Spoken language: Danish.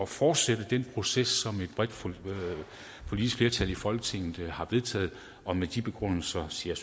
fortsætte den proces som et bredt politisk flertal i folketinget har vedtaget og med de begrundelser siger